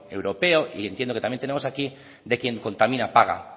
europeo y entiendo que también tenemos aquí de quien contamina paga